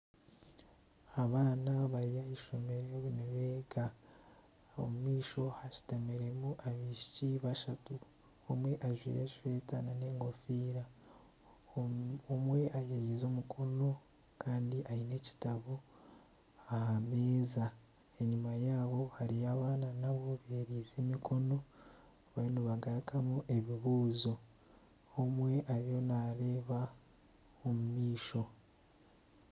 Abaana bari ah'eishomero nibeega. Omu maisho hashutamiremu abaishiki bashatu. Omwe ajwaire eshweta nana engofiira, omwe ayeriize omukono kandi aine ekitabo aha meeza. Enyima yaabo hariyo abaana nabo beeriize emikono bariyo nibagarukamu ebibuuzo. Omwe ariyo nareeba omu maisho.